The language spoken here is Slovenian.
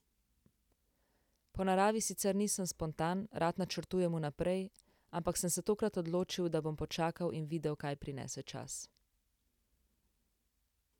Po naravi sicer nisem spontan, rad načrtujem vnaprej, ampak sem se tokrat odločil, da bom počakal in videl, kaj prinese čas.